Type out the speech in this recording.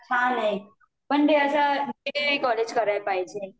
हा ना पण ते अश्या रेगुलर कॉलेज करायला पाहिजे